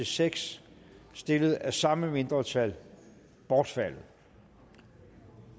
seks stillet af samme mindretal bortfaldet